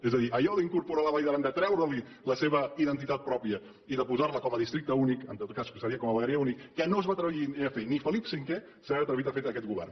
és a dir allò d’incorporar la vall d’aran de treureli la seva identitat pròpia i de posar la com a districte únic en tot cas seria com a vegueria única que no es va atrevir ni a fer ni felip v s’ha atrevit a fer ho aquest govern